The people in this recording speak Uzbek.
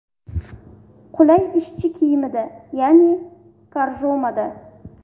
Qulay ishchi kiyimda ya’ni korjomada.